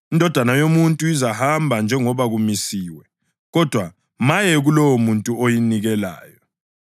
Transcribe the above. INdodana yoMuntu izahamba njengoba kumisiwe, kodwa maye kulowomuntu oyinikelayo.”